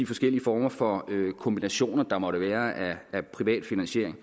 forskellige former for kombinationer af privat finansiering